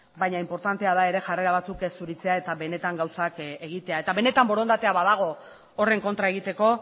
baina inportantea da ere jarrera batzuk ez zuritzea eta benetan gauzak egitea eta benetan borondatea badago horren kontra egiteko